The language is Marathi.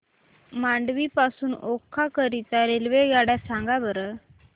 मांडवी पासून ओखा करीता रेल्वेगाड्या सांगा बरं